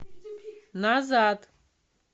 назад